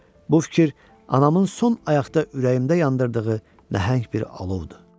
Bu fikir anamın son ayaqda ürəyimdə yandırdığı nəhəng bir alovdur.